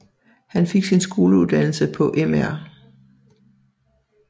Han fik sin skoleuddannelse på Mr